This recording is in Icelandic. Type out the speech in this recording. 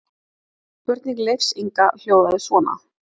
Spurning Leifs Inga hljóðaði svona: